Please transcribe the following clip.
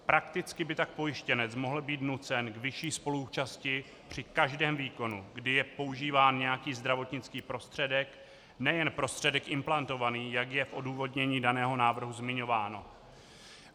Prakticky by tak pojištěnec mohl být nucen k vyšší spoluúčasti při každém výkonu, kdy je používán nějaký zdravotnický prostředek, nejen prostředek implantovaný, jak je v odůvodnění daného návrhu zmiňováno.